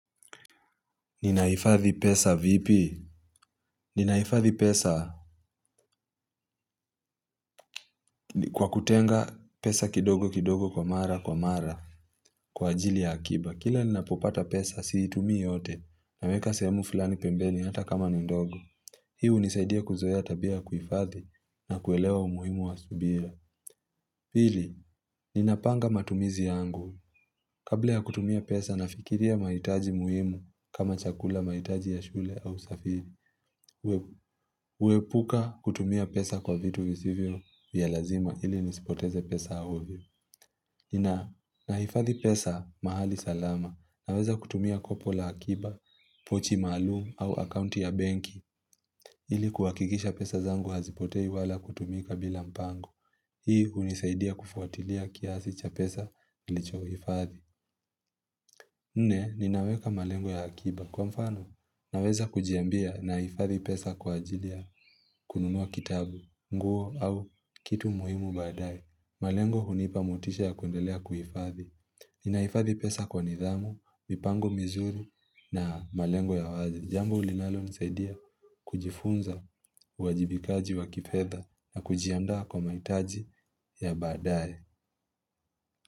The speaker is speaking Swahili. Ninahifadhi pesa vipi? Ninahifadhi pesa kwa kutenga pesa kidogo kidogo kwa mara kwa mara kwa ajili ya akiba. Kila ninapopata pesa siitumii yote naweka sehemu fulani pembeni hata kama ni ndogo. Hii hunsaidia kuzoea tabia ya kuhifadhi na kuelewa umuhimu wa subira. Pili, ninapanga matumizi yangu. Kabla ya kutumia pesa nafikiria mahitaji muhimu kama chakula, mahitaji ya shule au usafiri. Kuepuka kutumia pesa kwa vitu visivyo vya lazima ili nisipoteze pesa ovyo nahifadhi pesa mahali salama. Naweza kutumia kopo la akiba, pochi maalumu au akaunti ya benki ili kuhakikisha pesa zangu hazipotei wala kutumika bila mpango. Hii hunisaidia kufuatilia kiasi cha pesa nilicho hifadhi. Nne, ninaweka malengo ya akiba. Kwa mfano, naweza kujiambia nahifadhi pesa kwa ajilia ya kununua kitabu, nguo au kitu muhimu baadaye, malengo hunipa motisha ya kundelea kuhifadhi. Ninahifadhi pesa kwa nidhamu, mipango mizuri na malengo ya wazi. Jambo linalo nisaidia kujifunza uajibikaji wa kifedha na kujiandaa kwa maitaji ya badai.